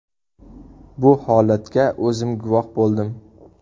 Bu holatga o‘zim guvoh bo‘ldim.